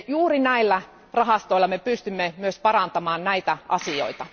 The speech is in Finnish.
Juuri näillä rahastoilla me pystymme myös parantamaan näitä asioita.